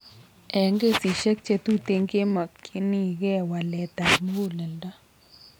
Eng' kesisiek chetuten kemokyinkee waleet ab muguleldo